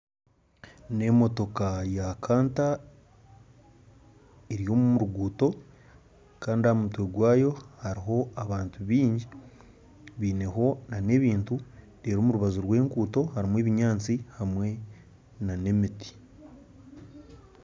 N'emotooka ya kanta eri omu ruguuto kandi aha mutwe gwayo hariho abantu baingi baineho n'ebintu reero omu rubaju rw'enguutu hariho ebinyaatsi hamwe n'emiti